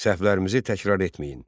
Səhvlərimizi təkrar etməyin.